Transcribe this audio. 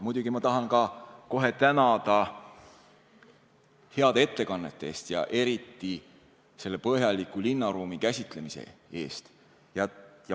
Muidugi tahan ma kohe tänada heade ettekannete eest ja eriti põhjaliku linnaruumi käsitlemise eest.